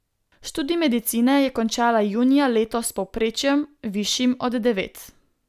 Študij medicine je končala junija letos s povprečjem, višjim od devet.